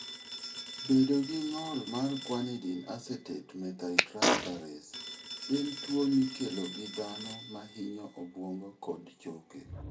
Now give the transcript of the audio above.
Bedo gi ng'ol mar guanidinoacetate methyltransferase en tuwo mikelo gi dhano ma hinyo obwongo kod choke.